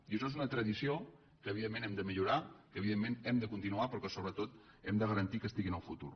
i això és una tradició que evidentment hem de millorar que evidentment hem de continuar però que sobretot hem de garantir que estigui en el futur